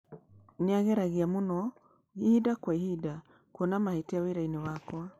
nĩ aageragia mũno ĩhĩnda kwa ĩhĩnda kuona mahĩtia wĩra-inĩ wakwa